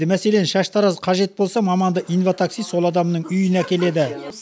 мәселен шаштараз қажет болса маманды инватакси сол адамның үйіне әкеледі